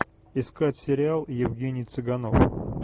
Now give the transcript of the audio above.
искать сериал евгений цыганов